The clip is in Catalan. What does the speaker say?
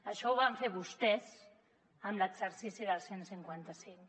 això ho van fer vostès amb l’exercici del cent i cinquanta cinc